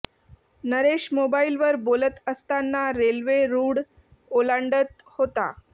नरेश मोबाइलवर बोलत असताना रेल्वे रुळ ओलांडत होता